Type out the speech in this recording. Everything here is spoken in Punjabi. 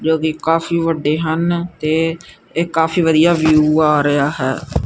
ਜੋ ਕਿ ਕਾਫੀ ਵੱਡੇ ਹਨ ਤੇ ਇਹ ਕਾਫੀ ਵਧੀਆ ਵਿਊ ਆ ਰਿਹਾ ਹੈ।